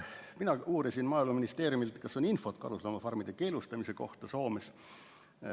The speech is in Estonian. Mina uurisin Maaeluministeeriumi esindajalt, kas on infot karusloomafarmide keelustamise kohta Soomes.